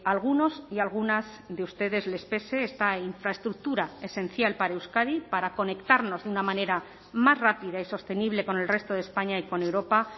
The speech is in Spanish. a algunos y algunas de ustedes les pese esta infraestructura esencial para euskadi para conectarnos de una manera más rápida y sostenible con el resto de españa y con europa